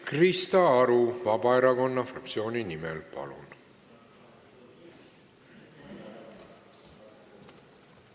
Krista Aru Vabaerakonna fraktsiooni nimel, palun!